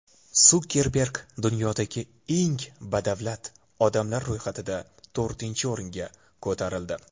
Sukerberg dunyodagi eng badavlat odamlar ro‘yxatida to‘rtinchi o‘ringa ko‘tarildi .